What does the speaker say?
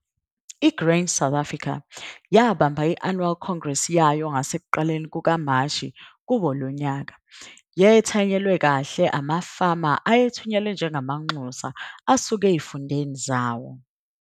I-Grain SA yabamba i-annual Congress yayo ngasekuqaleni kukaMashi kuwo lonyaka. Yethanyelwa kahle amafama ayethunywe njengamanxusa asuka ezifundeni zawo.